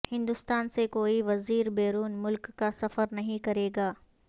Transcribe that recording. ہندوستان سے کوئی وزیر بیرون ملک کا سفر نہیں کرے گا